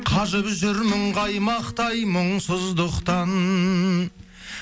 қажып жүрмін қаймақтай мұңсыздықтан